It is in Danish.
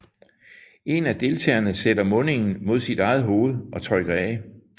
En af deltagerne sætter mundingen mod sit eget hoved og trykker af